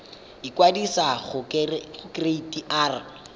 ikwadisa mo go kereite r